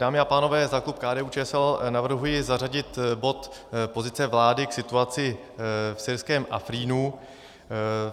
Dámy a pánové, za klub KDU-ČSL navrhuji zařadit bod Pozice vlády k situaci v syrském Afrínu.